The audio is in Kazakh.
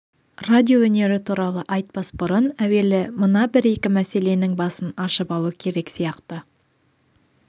радиоөнері туралы айтпас бұрын әуелі мына бір екі мәселенің басын ашып алу керек сияқты